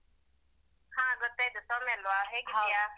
ಹಾ ಗೊತ್ತಾಯ್ತು ಸೌಮ್ಯ ಅಲ್ವ ಹೇಗಿದ್ಯಾ?